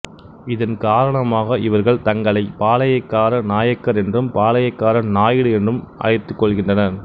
இதன் காரணமாக இவர்கள் தங்களை பாளையக்கார நாயக்கர் என்றும் பாளையக்கார நாயுடு என்றும் அழைத்துக் கொள்கின்றனர்